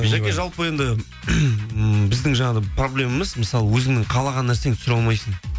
жаке жалпы енді ммм біздің жаңағы проблемамыз мысалы өзіңнің қалаған нәрсеңді түсіре алмайсың